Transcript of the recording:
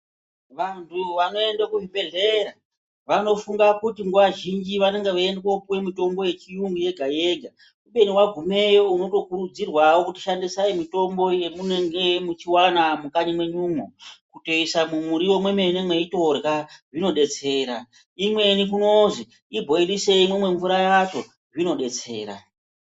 Vantu vanoende ku zvibhedhlera vanofunga kuti nguva zhinji vanenge vei ende kopuwe mutombo ye chiyungu yega yega kubeni wagumeyo unoto kurudzirwawo kuti shandisai mitombo ye munenge muchi wana mukanyi menyumwo kutoisa mu muriwo mwe mene meitorya zvino detsera imweni kunozi ibhoilisei mumwe mvura yacho zvino detsera.